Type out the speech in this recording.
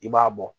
I b'a bɔ